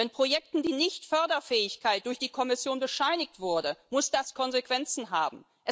Wenn Projekten die Nicht Förderfähigkeit durch die Kommission bescheinigt wurde, muss das Konsequenzen haben.